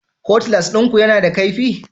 Cutlass ɗinku yana da kaifi?